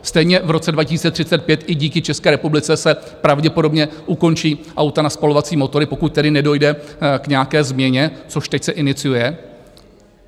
Stejně v roce 2035 i díky České republice se pravděpodobně ukončí auta na spalovací motory, pokud tedy nedojde k nějaké změně, což teď se iniciuje.